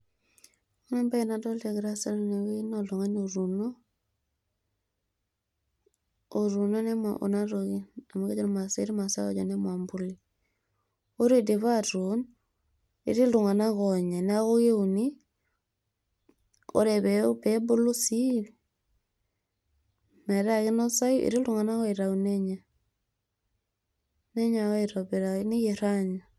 Ore ebae nadolta egira aasa tenewei naa oltung'ani otuuno, otuuno kuna toki. Amu kejo irmaasai ketii irmaasai ojo nemanbuli. Ore idipa atuun, etii iltung'anak oonya. Neeku keuni, ore pebulu sii metaa kinosayu, etii iltung'anak oitau nenya. Nenya ake aitobiraki, neyier anya.